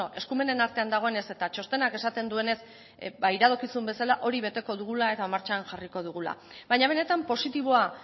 eskumenen artean dagoenez eta txostenak esaten duenez ba iradokizun bezala hori beteko dugula eta martxan jarriko dugula baina benetan positiboa